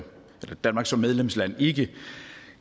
danmark som medlemsland ikke